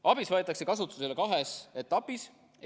ABIS võetakse kasutusele kahes etapis.